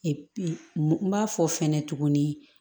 n b'a fɔ fɛnɛ tuguni